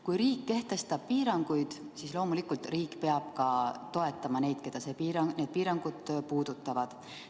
Kui riik kehtestab piiranguid, siis loomulikult riik peab ka toetama neid, keda need piirangud puudutavad.